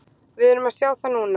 Við erum að sjá það núna.